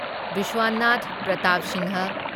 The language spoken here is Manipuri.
ꯚꯤꯁ꯭ꯋꯥꯅꯥꯊ ꯄ꯭ꯔꯇꯥꯞ ꯁꯤꯡꯍ